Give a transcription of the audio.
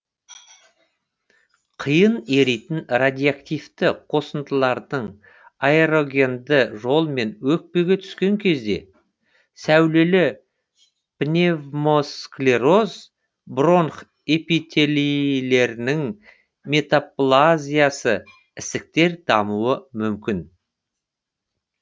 қиын еритін радиоактивті қосындылардың аэрогенді жолмен өкпеге түскен кезде сәулелі пневмосклероз бронх эпителилерінің метаплазиясы ісіктер дамуы мүмкін